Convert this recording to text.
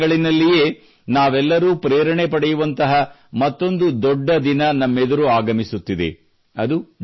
December ತಿಂಗಳಲ್ಲಿನಲ್ಲಿಯೇ ನಾವೆಲ್ಲರೂ ಪ್ರೇರಣೆ ಪಡೆಯುವಂತಹ ಮತ್ತೊಂದು ದೊಡ್ಡ ದಿನ ನಮ್ಮ ಎದುರು ಆಗಮಿಸುತ್ತಿದೆ